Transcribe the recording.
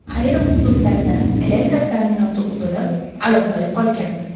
Ayrim hududlarda elektr ta’minoti uzilib, aloqa yo‘qolgan .